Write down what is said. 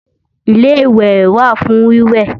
Ilé-ìwẹ̀ wà fún wíwẹ̀